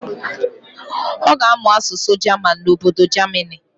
Ọ ga-amụ asụsụ jaman n'obodo jamini.